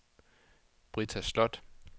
Britta Slot